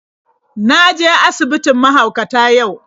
Na je asibitin mahaukata yau.